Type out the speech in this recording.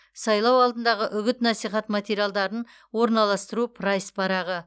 сайлау алдындағы үгіт насихат материалдарын орналастыру прайс парағы